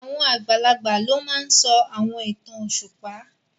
Àwọn àgbàlagbà ló máa n sọ àwọn ìtàn òṣùpá